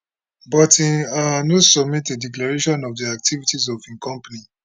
but im um no submit a declaration of di activities of im company